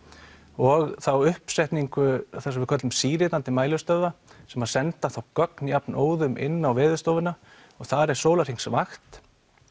og þá uppsetningu sem við köllum mælistöðva sem að senda þá gögn jafnóðum inn á Veðurstofuna og þar er sólarhringsvakt